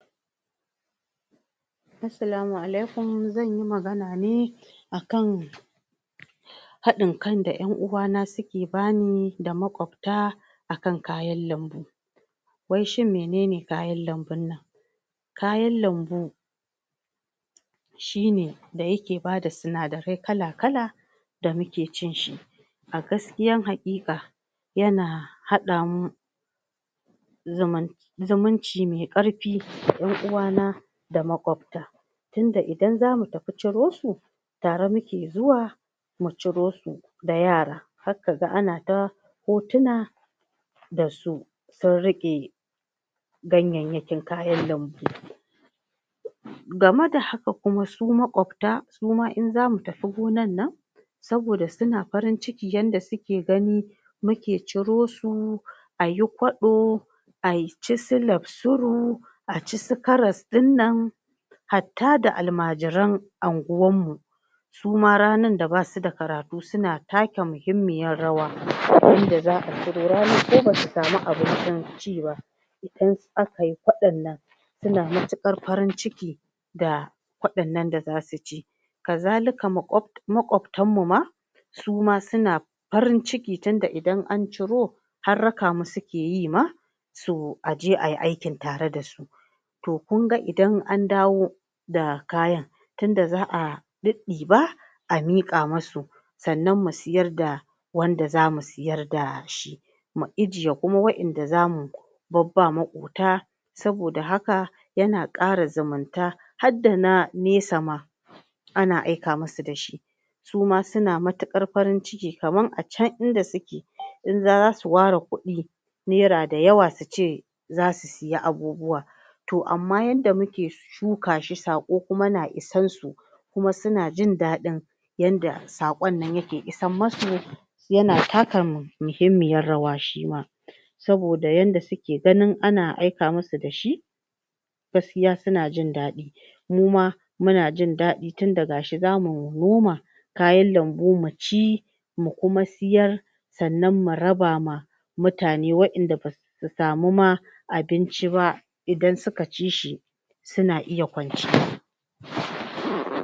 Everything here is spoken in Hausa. Assalamu alaikum zan yi magana ne akan haɗin kai da 'yan uwana suke bani da makwafta akan kayan lambu wai shin menene kayan lambun nan? kayan lambu shi ne da yake bada sinadarai kala-kala da muke cin shi a gaskiya haƙiƙa yana haɗamu zamun zamunci me ƙarfi 'yan uwana da makwafta tunda idan zamu tafi ciro su tare muke zuwa mu ciro su da yara har ka ga anata hotuna da su sun riƙe ganyayyakin kayan lambu game da haka kuma su makwafta suma in zamu tafi gonar nan saboda suna farin ciki yanda suke gani muke ciro su ayi kwaɗo ai ci su lamsuru a ci su karas ɗin nan hatta da almajiran anguwarmu suma ranar da basu da karatu suna taka muhimmiyar rawa wanda za a cire ranar ko ba su samu abincin ci ba akai Kwaɗon nan suna matuƙar farin ciki da kwaɗon nan da zu ci kazalika makwaf makwaftanmu ma suma suna farin ciki tun idan an ciro har rakamu suke yi ma su aje ai aikin tare da su to kunga idan an dawo da kayan tunda za a ɗiɗɗiba a miƙa masu sannan mu siyar da wanda za mu siyar da shi mu ijiye kuma wa'yanda za mu babba maƙota saboda haka yana ƙara zumunta hadda na nesa ma ana aika musu da shi su ma suna matuƙar farin ciki kamar a can inda suke za su ware kuɗi naira da yawa su ce za su siya abubuwa to amma yanda muke shuka shi saƙo kuma na isarsu kuma suna jindaɗin yadda saƙon yake isammasu suna taka muhimmiyar rawa shi ma saboda yadda suke ganin ana aika musu da shi gaskiya suna jindaɗi muma muna jindaɗi tunda ga shi za mu noma kayan lambu mu ci mu kuma siyar sannan mu raba ma mutane wanda wa'yanda basu samu ma abinci ba idan suka ci shi suna iya kwanciya?